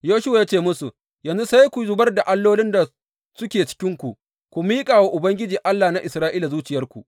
Yoshuwa ya ce musu, Yanzu sai ku zubar da allolin da suke cikinku, ku miƙa wa Ubangiji, Allah na Isra’ila zuciyarku.